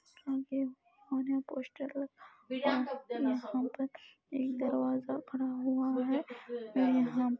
poster लगा हुआ है और यहाँ पर एक दरवाजा पड़ा हुआ है और यहाँ पर--